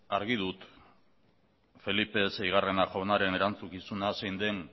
argi dut felipe seigarren jaunaren erantzukizuna zein den